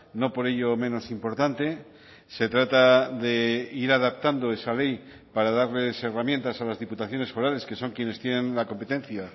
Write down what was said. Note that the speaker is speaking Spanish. no por ello menos importante se trata de ir adaptando esa ley para darles herramientas a las diputaciones forales que son quienes tienen la competencia